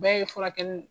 Bɛɛ ye furakɛli